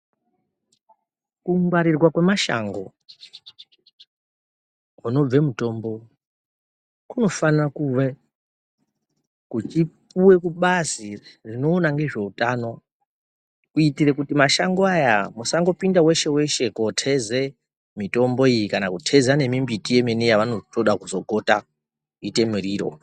Kungwarirwa kwemashango kunobve mutombo kunofana kuve kuchipuwe kubazi rinoona ngezveutano kuitire kuti mashango aya musangopinda weshe weshe koteze mitombo iyi kana kuteza nemimbiti yemene yavanongoda kuzogota kuite muriro.